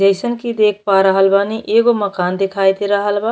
जइसन कि देख पा रहल बानी एगो मकान देखाई दे रहल बा।